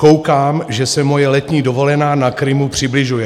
"Koukám, že se moje letní dovolená na Krymu přibližuje."